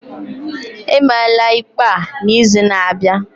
Emeela ikpe a n'izu na-abịa